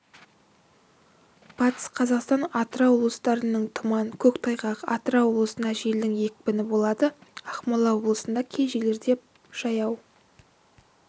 батыс қазақстан атырау облыстарынының тұман көктайғақ атырау облысында желдің екпіні болады ақмола облысында кей жерлерде жаяу